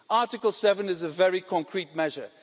Article 7 is a very concrete measure.